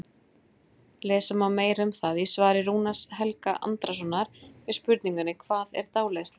Lesa má meira um það í svari Rúnars Helga Andrasonar við spurningunni Hvað er dáleiðsla?